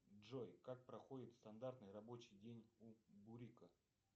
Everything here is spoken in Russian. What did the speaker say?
джой как проходит стандартный рабочий день у бурика